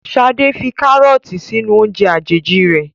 Sade fí karọọti sínú oúnje àjèjì rẹ